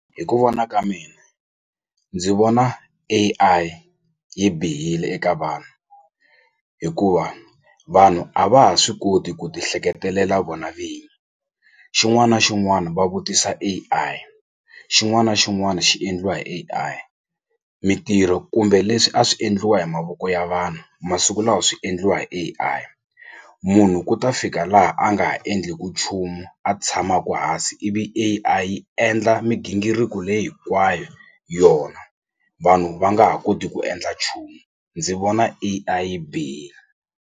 Hi ku vona ka mina ndzi vona A_I yi bihile eka vanhu hikuva vanhu a va ha swi koti ku ti hleketelela vona vini xin'wana na xin'wana va vutisa A_I xin'wana na xin'wana xi endliwa hi A_I mintirho kumbe leswi a swi endliwa hi mavoko ya vanhu masiku lawa swi endliwa hi A_I munhu ku ta fika laha a nga ha endleku nchumu a tshamaku hansi ivi A_I yi endla migingiriko leyi hinkwayo yona vanhu va nga ha koti ku endla nchumu ndzi vona A_I yi bihile.